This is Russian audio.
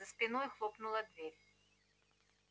за спиной хлопнула дверь